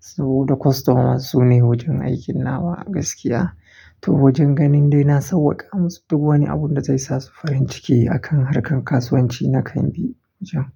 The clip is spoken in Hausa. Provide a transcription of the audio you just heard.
Saboda customers sune wajen aikin nawa gaskiya. To wajen ganin dai na sauwaka musu duk wani abun da zai sa su farin ciki a kan harkar kasuwanci na kan bi.